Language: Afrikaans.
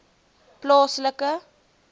plaaslike